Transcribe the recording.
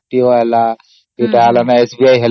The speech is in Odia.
ଯେତେବେଳେ RTO ହେଲା ସେତେବେଳେ